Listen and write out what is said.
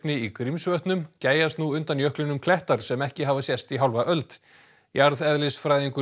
í Grímsvötnum gægjast nú undan jöklinum klettar sem ekki hafa sést í hálfa öld jarðeðlisfræðingur